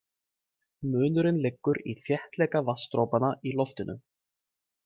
Munurinn liggur í þéttleika vatnsdropanna í loftinu.